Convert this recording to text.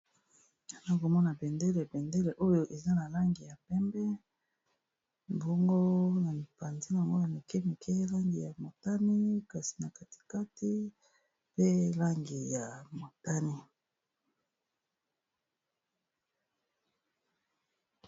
na komona bendele bendele oyo eza na langi ya pembe mbongo na mipanzinyangoyo moke mikee langi ya motani kasi na katikati pe langi ya motani